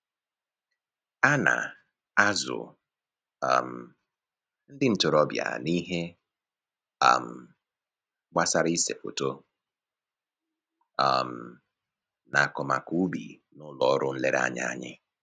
A na-azụ um ndị ntoroọbịa n'ihe um gbasara ise foto um na akọmakọ ubi n'ụlọ ọrụ nlereanya anyị